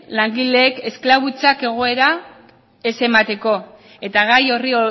langileen esklabutzako egoera ez emateko eta gai horri